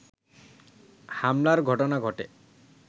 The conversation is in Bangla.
হামলার ঘটনা ঘটে